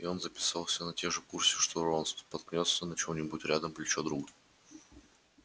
и он записался на те же курсы что рон споткнётся на чём-нибудь рядом плечо друга